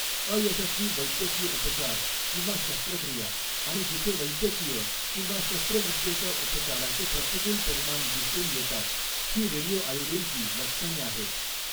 अयशस्वी वैद्यकीय उपचार किंवा शस्त्रक्रिया आणि जिथे वैद्यकीय किंवा शस्त्रविद्येच्या उपचाराचे प्रतिकूल परिणाम दिसून येतात, ही रेडिओ आयोडीनची लक्षणे आहेत.